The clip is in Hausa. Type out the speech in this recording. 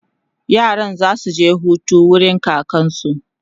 yaran zasu je Hutu wurin kakansu